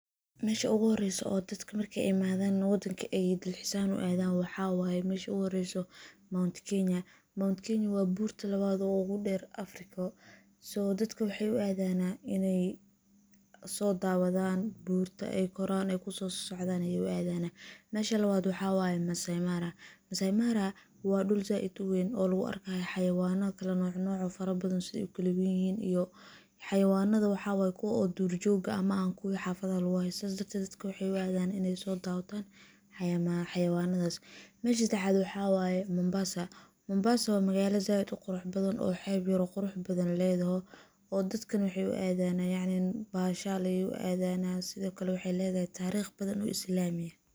Mesha ugu horeyso oo dadka marka imadhan wadanka aay talxis aahan uadhan waxa wayeh meshi ogu horeyso Mount kenya, Mount kenya waa burta labad oguder Afriko so dadka waxay uu adanah inay sodawadan, burta aay koran, kuso socdan ayay uadana, mesha labad waxa waye Masaimara, Masaimara wa dul said uweyn oo lagu arkayo xawayano kalanoc noc ah farabadhan, say ukala weynihin iyoh, xawayanada waxa wayeh kuwa dur jog ah ama ah kuwa xafada lagu haysanin dadka waxay uudan inay sodawadan xawayanadas, mesha sedexad waxa wayeh Mombasa, Mombasa wa magalo sayid uquraxbadhan, oo xeb yar oo quraxbadhan ledoho oo dadka nah waxay uuadan yacni bashal uadanah sidiokale waxay ledahy tariq badhan oo islami ah.